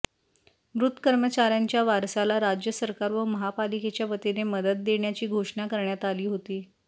मृत कर्मचाऱ्यांच्या वारसाला राज्य सरकार व महापालिकेच्या वतीने मदत देण्याची घोषणा करण्यात आली होती